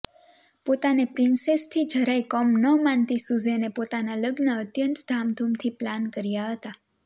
પોતાને પ્રિન્સેસથી જરાય કમ ન માનતી સુઝેને પોતાનાં લગ્ન અત્યંત ધામધૂમથી પ્લાન કર્યા હતા